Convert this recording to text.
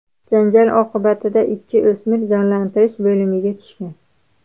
Janjal oqibatida ikki o‘smir jonlantirish bo‘limiga tushgan.